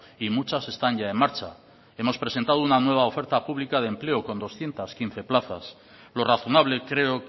y muchas están ya en marcha hemos presentado una nueva oferta pública de empleo con doscientos quince plazas lo razonable creo